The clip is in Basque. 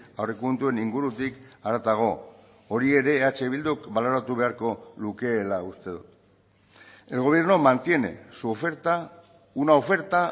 aurrekontuen ingurutik haratago hori ere eh bilduk baloratu beharko lukeela uste dut el gobierno mantiene su oferta una oferta